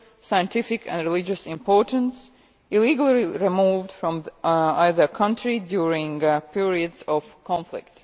scientific and religious importance illegally removed from either country during periods of conflict.